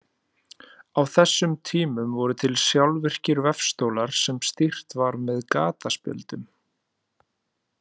Á þessum tímum voru til sjálfvirkir vefstólar sem stýrt var með gataspjöldum.